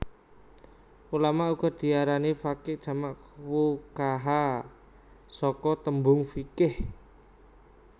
Ulama uga diarani faqih jamak fuqahaa saka tembung fiqh